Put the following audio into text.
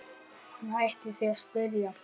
Hann hætti því að spyrja.